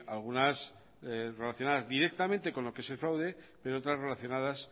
algunas relacionadas directamente con lo que es el fraude pero otras relacionadas